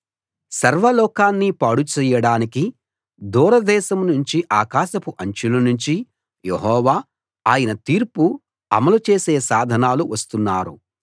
సర్వలోకాన్ని పాడు చెయ్యడానికి దూర దేశం నుంచీ ఆకాశపు అంచుల నుంచీ యెహోవా ఆయన తీర్పు అమలు చేసే సాధనాలు వస్తున్నారు